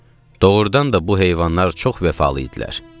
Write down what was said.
Doğrudan da bu heyvanlar çox vəfalı idilər.